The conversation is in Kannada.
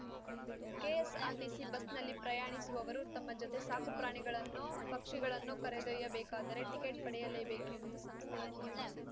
ಕೆಎಸ್‌ಆರ್‌ಟಿಸಿ ಬಸ್‌ನಲ್ಲಿ ಪ್ರಯಾಣಿಸುವವರು ತಮ್ಮ ಜೊತೆ ಸಾಕು ಪ್ರಾಣಿಗಳನ್ನೋ ಪಕ್ಷಿಗಳನ್ನೋ ಕರೆದೊಯ್ಯಬೇಕಾದರೆ ಟಿಕೆಟ್‌ ಪಡೆಯಲೇಬೇಕೆಂಬುದು ಸಂಸ್ಥೆಯ ನಿಯಮ